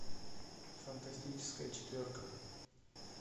фантастическая четверка